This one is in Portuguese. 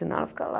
Senão ela fica lá.